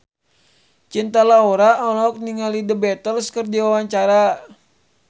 Cinta Laura olohok ningali The Beatles keur diwawancara